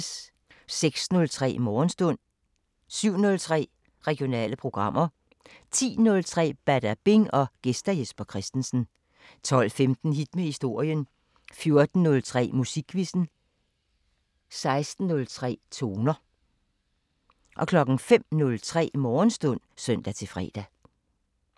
06:03: Morgenstund 07:03: Regionale programmer 10:03: Badabing: Gæst Jesper Christensen 12:15: Hit med historien 14:03: Musikquizzen 16:03: Toner 05:03: Morgenstund (søn-fre)